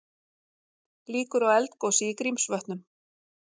Líkur á eldgosi í Grímsvötnum